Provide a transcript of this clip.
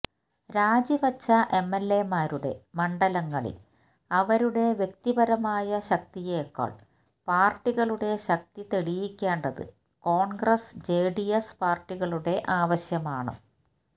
രാജി വച്ച എംഎൽഎമാരുടെ മണ്ഡലങ്ങളിൽ അവരുടെ വ്യക്തിപരമായ ശക്തിയേക്കാൾ പാർട്ടികളുടെ ശക്തി തെളിയിക്കേണ്ടത് കോൺഗ്രസ് ജെഡിഎസ് പാർട്ടികളുടെ ആവശ്യമാണ്